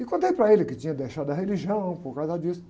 E contei para ele que tinha deixado a religião por causa disso.